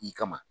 I kama